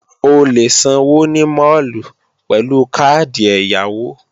O lè sanwó ní máàlù pẹ̀lú káàdì ẹ̀yáwó